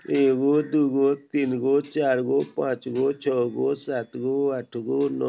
एगो दू गो तीन गो चार गो पांच गो छ गो सात गो आठ गो नौ --